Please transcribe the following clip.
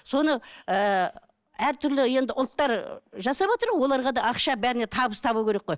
соны ыыы әртүрлі енді ұлттар жасаватыр оларға да ақша бәріне табыс табу керек қой